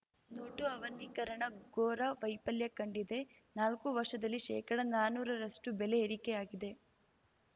note ಅವನಿಕರಣ ಘೋರ ವೈಫಲ್ಯ ಕಂಡಿದೆ ನಾಲ್ಕು ವರ್ಷದಲ್ಲಿ ಶೇಕಡನಾನೂರರಷ್ಟುಬೆಲೆ ಏರಿಕೆಯಾಗಿದೆ